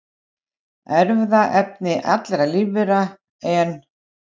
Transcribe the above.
Erfðaefni allra lífvera, en